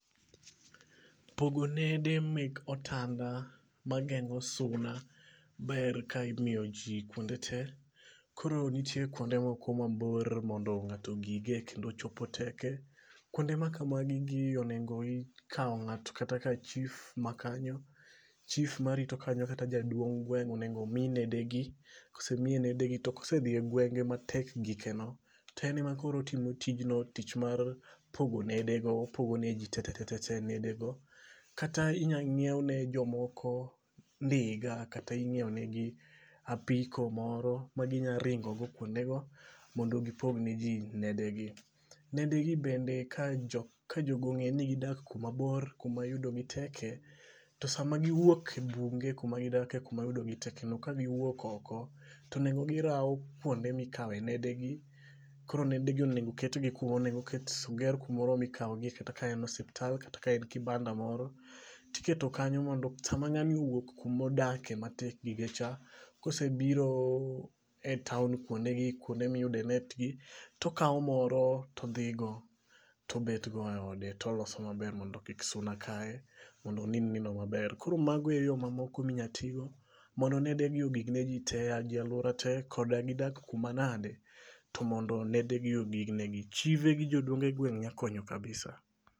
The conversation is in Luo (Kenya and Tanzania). Pogo nede mek otanda mageng'o suna ber ka imiyo ji kuonde te. Koro nitie kuonde moko mabor mondo ng'ato ogige kendo chopo teke. Kuonde ma kamagi onego ikaw ng'ato kata ka chief ma kanyo. Chief marito kanyo kata jaduong' gweng' onego omi nede gi. Kosemiye nede gi to kose dhiye gwenge matek gike go to en e makoro otimo tijnio tich mar pogo nede go. Opogo ne ji te te te te nede go. Kata inya ng'iew ne jomoko ndiga kata ing'iew ne gi apiko moro ma gi nya ringo go kuonde go mondo gipog ne ji nedegi. Nedegi bende ka jogong'e ni gidak kuma bor kuma yudogi teke. To sama giwuok e bunge kuma gidak kuma yudo gi tekeno ka giwuok oko tonengo girawo kuonde mikawe nedegi. Koro nede gi onego oket gi kumo onengo ket oger kumo mikawo gie kata ka en osiptal kata ka en kibanda moro. Tiketo kanyo mondo sama ng'ani owuok kuma odakie matek gike cha, kosebiro e town kuonde gikuonde miyude net gi. To okaw moro todhi go to bet go e ode toloso maber mondo kik suna kaye mondo onind nindo maber. Kor mago e yo mamoko minyatigo mondo nede gi ogik ne ji te. E lauora te koda gidak kuma nade, to mondo nede gi ogig ne gi, Chife gi jodongo gweng' nya konyo kabisa.